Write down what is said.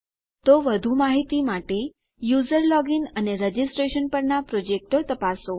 તો વધુ માહિતી માટે યુઝર લોગીન અને રજીસ્ટ્રેશન પરનાં પ્રોજેક્ટો તપાસો